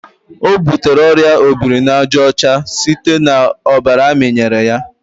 ọ butere oria obirinajaọcha site na ọbara amịnyere ya.